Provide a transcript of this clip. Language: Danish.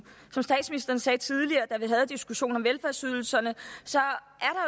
som statsministeren sagde tidligere da vi havde diskussionen om velfærdsydelserne så